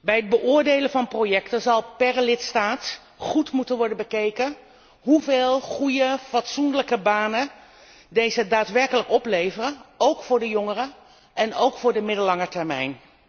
Bij het beoordelen van projecten zal per lidstaat goed moeten worden bekeken hoeveel goede, fatsoenlijke banen deze daadwerkelijk opleveren, ook voor de jongeren en ook voor de middellange termijn.